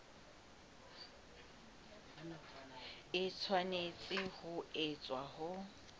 e tshwanetse ho etswa ho